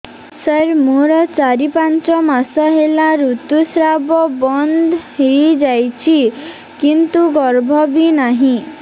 ସାର ମୋର ଚାରି ପାଞ୍ଚ ମାସ ହେଲା ଋତୁସ୍ରାବ ବନ୍ଦ ହେଇଯାଇଛି କିନ୍ତୁ ଗର୍ଭ ବି ନାହିଁ